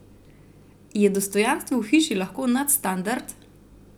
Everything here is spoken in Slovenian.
Je dostojanstvo v hiši lahko nadstandard?